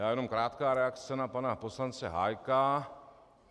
Já jenom - krátká reakce na pana poslance Hájka.